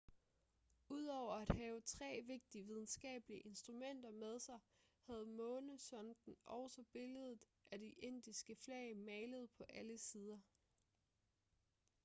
udover at have tre vigtige videnskabelige instrumenter med sig havde månesonden også billedet af det indiske flag malet på alle sider